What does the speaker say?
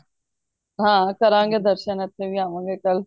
ਹਾਂ ਕਰਾਂਗੇ ਦਰਸ਼ਨ ਇਥੇ ਵੀ ਆਵਾਂ ਗੇ ਕੱਲ